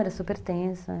Era super tenso.